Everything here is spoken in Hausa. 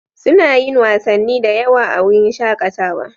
Suna yin wasanni da yawa a wurin shakatawa.